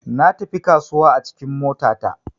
Natafi kasuwa a cikin mota ta.